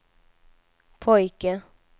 pojke